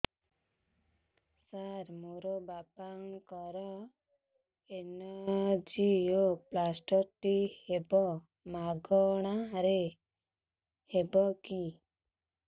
ସାର ମୋର ବାପାଙ୍କର ଏନଜିଓପ୍ଳାସଟି ହେବ ମାଗଣା ରେ ହେବ କି